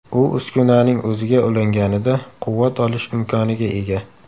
U uskunaning o‘ziga ulanganida quvvat olish imkoniga ega.